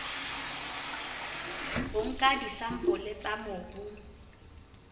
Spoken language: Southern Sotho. o nka disampole tsa mobu